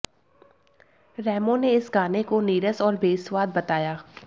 रेमो ने इस गाने को नीरस और बेस्वाद बताया